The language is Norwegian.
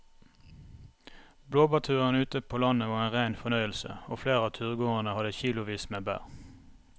Blåbærturen ute på landet var en rein fornøyelse og flere av turgåerene hadde kilosvis med bær.